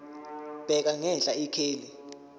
bheka ngenhla ikheli